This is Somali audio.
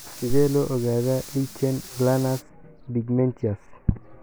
Sidee loo ogaadaa lichen planus pigmentosus?